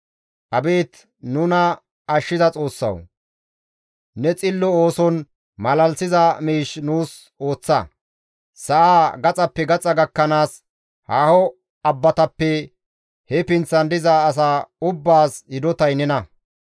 Abeet nuna ashshiza Xoossawu ne xillo ooson malalisiza miish nuus ooththa; Sa7aa gaxappe gaxa gakkanaas, haaho abbatappeka he pinththan diza asa ubbaas hidotay nena.